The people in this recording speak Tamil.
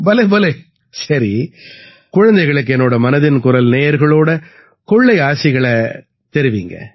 பலே பலே சரி குழந்தைகளுக்கு என்னோட மனதின் குரல் நேயர்களோட கொள்ளை ஆசிகளை தெரிவியுங்க